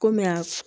Komi a